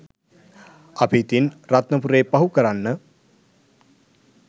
අපි ඉතින් රත්නපුරේ පහු කරන්න